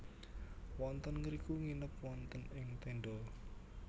Wonten ngriku nginep wonten ing tenda